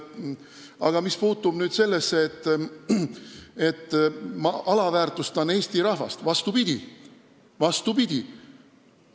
Aga mis puutub sellesse, et ma alavääristan Eesti rahvast, siis vastupidi!